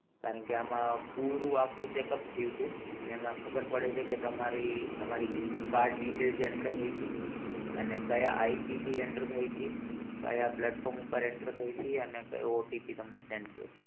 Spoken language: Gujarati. કારણ કે આમાં પૂરું આખું check up થયું તું અને એમાં ખબર પડે છે કે તમારી તમારી card detail જે enter થઇ તી અને કયા IP થી enter થઇ તી કયા platform પર enter થઇતી અને કયો OTP તમને send થયો હતો.